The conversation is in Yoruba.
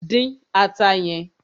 Dín ata yẹn!